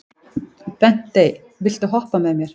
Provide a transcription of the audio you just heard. Bentey, viltu hoppa með mér?